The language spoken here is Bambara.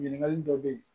Ɲininkali dɔ bɛ ye